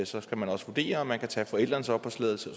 så skal man også vurdere om man kan tage forældrenes opholdstilladelse